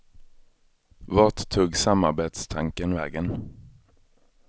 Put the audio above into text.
Vart tog samarbetstanken vägen?